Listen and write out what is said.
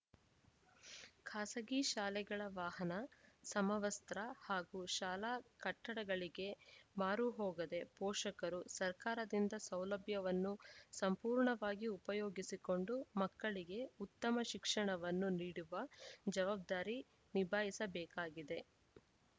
ಖಾಸಗಿ ಶಾಲೆಗಳ ವಾಹನ ಸಮವಸ್ತ್ರ ಹಾಗೂ ಶಾಲಾ ಕಟ್ಟಡಗಳಿಗೆ ಮಾರು ಹೋಗದೇ ಪೋಷಕರು ಸರ್ಕಾರದಿಂದ ಸೌಲಭ್ಯವನ್ನು ಸಂಪೂರ್ಣವಾಗಿ ಉಪಯೋಗಿಸಿಕೊಂಡು ಮಕ್ಕಳಿಗೆ ಉತ್ತಮ ಶಿಕ್ಷಣವನ್ನು ನೀಡುವ ಜವಾಬ್ದಾರಿ ನಿಭಾಯಿಸಬೇಕಾಗಿದೆ